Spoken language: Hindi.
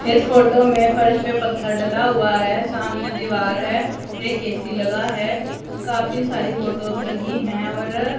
इस फोटो में फर्श पे पत्थर डला हुआ है सामने दीवार है एक ए_सी लगा है काफी सारी फोटोस लगी है और--